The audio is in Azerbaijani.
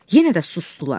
Yenə də susdular.